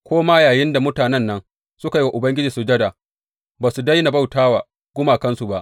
Ko ma yayinda mutanen nan suke yi wa Ubangiji sujada, ba su daina bauta wa gumakansu ba.